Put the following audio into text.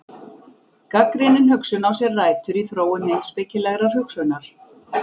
Gagnrýnin hugsun á sér rætur í þróun heimspekilegrar hugsunar.